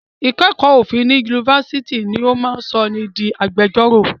Ìkẹ́kọ̀ọ́ òfin ní Yunifásitì ni ó máa sọ ni di agbẹjọ́rò.